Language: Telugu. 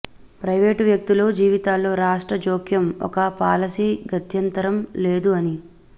ప్రైవేట్ వ్యక్తుల జీవితాల్లో రాష్ట్ర జోక్యం ఒక పాలసీ గత్యంతరం లేదు అని